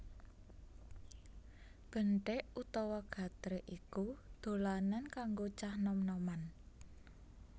Benthik utawa gatrik iku dolanan kanggo cah nom noman